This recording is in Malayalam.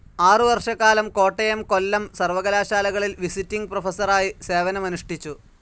ആറുവർഷകാലം കോട്ടയം, കൊല്ലം സർവകലാശാലകളിൽ വിസിറ്റിങ്‌ പ്രൊഫസറായി സേവനമനുഷ്ഠിച്ചു.